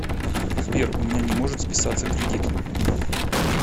сбер у меня не может списаться кредит